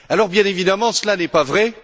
Bien évidemment, cela n'est pas vrai.